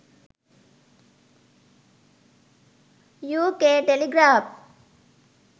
uk telegraph